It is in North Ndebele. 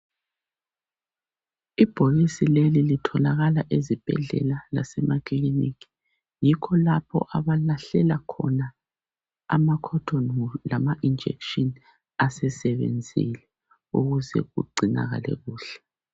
Ibhokisi leli itholakala ezibhedlela lase emakiliniki. Yikho lapha abalahlela khona ama khothoni wulu lana injekhishini asesebenzile, ukuze kugcinakale kuhle.